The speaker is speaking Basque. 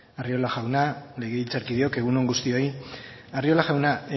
arriola jauna legebiltzarkideok egun on guztioi arriola jauna